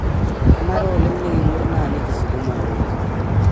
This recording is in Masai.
Kenare oleng nikingorr na nikisuma intoyie.